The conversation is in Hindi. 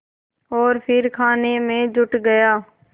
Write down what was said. और फिर खाने में जुट गया